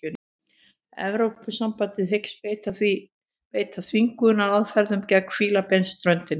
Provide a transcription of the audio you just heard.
Evrópusambandið hyggst beita þvingunaraðferðum gegn Fílabeinsströndinni